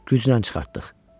Güclə çıxartdıq.